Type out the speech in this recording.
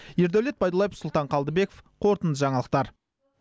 ердәулет байдуллаев сұлтан қалдыбеков қорытынды жаңалықтар